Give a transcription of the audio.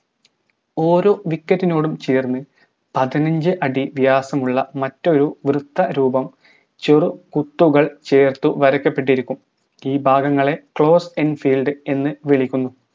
ഓരോ wicket നോടും ചേർന്ന് പതിനഞ്ച് അടി വ്യാസമുള്ള മറ്റൊരു വൃത്ത രൂപം ചെറു കുത്തുകൾ ചേർത്ത് വരാക്കപ്പെട്ടിരിയ്ക്കും ഈ ഭാഗങ്ങളെ closing filed എന്ന് വിളിക്കുന്നു